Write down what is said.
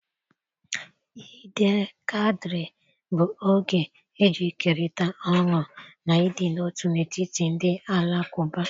Eid el kadir bụ oge eji ekerịta ọṅụ na ịdị n'otu n'etiti ndị Alakụba.